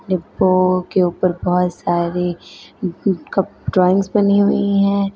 डिब्बो के ऊपर पास शायरी ड्राइंगस बनी हुई है।